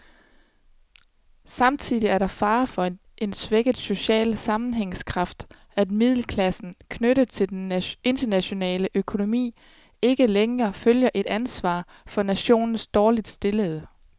Samtidig er der fare for en svækket social sammenhængskraft, at middelklassen, knyttet til den internationale økonomi, ikke længere føler et ansvar for nationens dårligt stillede.